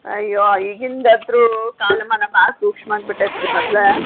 ಅಯ್ಯೋ ಈಗಿಂದ್ ಅಂತ್ರು ಕಾಲಮಾನ ಬಾಳ್ ಸೂಕ್ಷ್ಮ ಆಗ್ ಬಿಟೈತ್ರೀ ಮದ್ಲ.